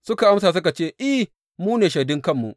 Suka amsa suka ce, I, mu ne shaidun kanmu.